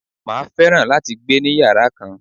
Màá fẹ́ràn láti gbé ni yàrá kan.